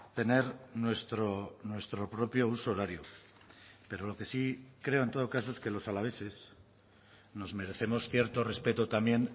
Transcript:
tener nuestro propio huso horario pero lo que sí creo en todo caso es que los alaveses nos merecemos cierto respeto también